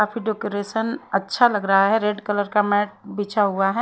काफी डेकोरेशन अच्छा लग रहा है रेड कलर का मैट बिछा हुआ है।